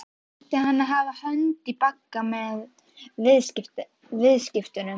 Sjálfur ætti hann að hafa hönd í bagga með viðskiptunum.